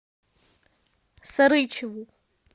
сарычеву